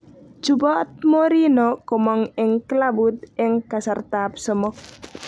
Chuboot Mourinho komong eng klabuit eng kasartab somok